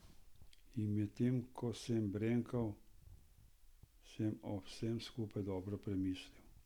In medtem ko sem brenkal, sem o vsem skupaj dobro premislil.